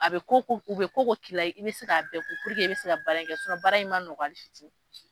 A bɛ ko o ko k'u, u bɛ ko o ko k'i la , i bɛ se k'a bɛɛ ku puruke i bɛ se ka baara in kɛ baara in ma nɔgɔ hali fitini .